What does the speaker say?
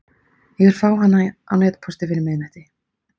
Ég vil fá hana á netpósti fyrir miðnætti.